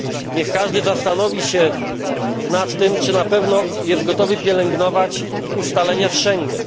Niech każdy zastanowi się nad tym, czy na pewno jest gotowy pielęgnować ustalenia z Schengen.